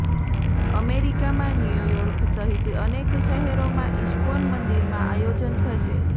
અમેરિકામાં ન્યુયોર્ક સહિત અનેક શહેરોમાં ઈસ્કોન મંદિરમાં આયોજન થશે